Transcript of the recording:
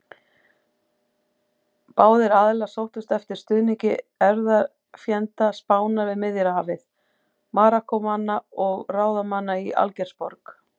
Báðir aðilar sóttust eftir stuðningi erfðafjenda Spánar við Miðjarðarhafið: Marokkómanna og ráðamanna í Algeirsborg.